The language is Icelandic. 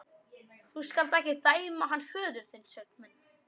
Þú skalt ekki dæma hann föður þinn, Sveinn minn.